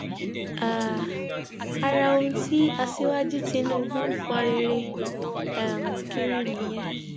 um ara ohun tí aṣíwájú tìtúbù ń fọnrẹrẹ um kiri nìyẹn